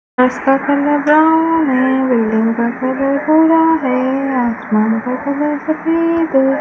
घास का colour brown है बिल्डिंग का कलर भूरा है आसमान का कलर सफेद है।